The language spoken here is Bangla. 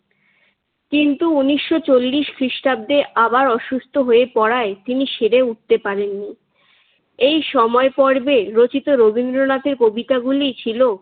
কিন্তু উনিশশো চল্লিশ খ্রিষ্টাব্দে আবার অসুস্থ হয়ে পড়ায় তিনি সেরে উঠতে পারেননি। এই সময় পর্বে রচিত রবীন্দ্রনাথের কবিতাগুলি ছিল।